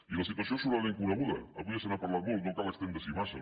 i la situació és sobradament coneguda avui ja se n’ha parlat molt no cal estendre s’hi massa